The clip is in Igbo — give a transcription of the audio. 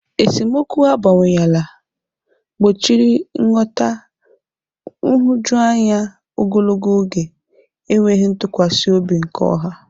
Esemokwu abawanyela, gbochiri nghọta, nhụjuanya ogologo oge, enweghị ntụkwasị obi nke ọha.